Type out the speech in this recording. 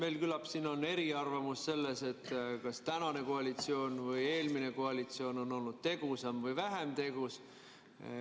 Jah, küllap siin on eriarvamus selles, kas tänane koalitsioon või eelmine koalitsioon on olnud tegusam või vähem tegus.